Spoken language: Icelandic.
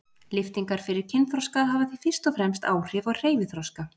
Lyftingar fyrir kynþroska hafa því fyrst og fremst áhrif á hreyfiþroska.